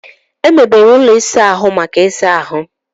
E mebere ụlọ ịsa ahụ maka ịsa ahụ.